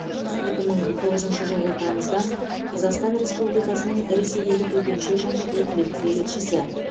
екі мың тоғызыншы жылғы тамыздан қазақстан республикасының ресейдегі төтенше және өкілетті елшісі